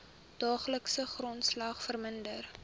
daaglikse grondslag verminder